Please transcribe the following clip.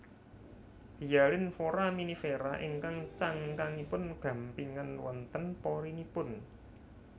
Hyalin Foraminifera ingkang cangkangipun gampingan wonten porinipun